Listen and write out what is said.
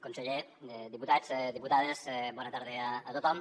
conseller diputats diputades bona tarda a tothom